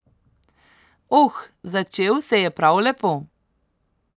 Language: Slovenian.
Oh, začel se je prav lepo.